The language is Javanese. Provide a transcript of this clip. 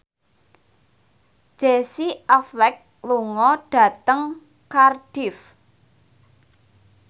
Casey Affleck lunga dhateng Cardiff